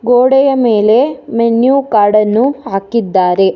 ಗೋಡೆಯ ಮೇಲೆ menu card ಅನ್ನು ಹಾಕಿದ್ದಾರೆ.